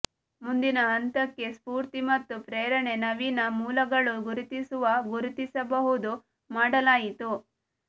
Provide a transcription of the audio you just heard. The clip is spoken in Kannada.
ಮುಂದಿನ ಹಂತಕ್ಕೆ ಸ್ಫೂರ್ತಿ ಮತ್ತು ಪ್ರೇರಣೆ ನವೀನ ಮೂಲಗಳು ಗುರುತಿಸುವ ಗುರುತಿಸಬಹುದು ಮಾಡಲಾಯಿತು